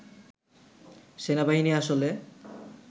সেনাবাহিনী আসলে